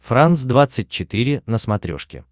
франс двадцать четыре на смотрешке